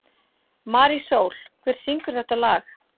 Marísól, hver syngur þetta lag?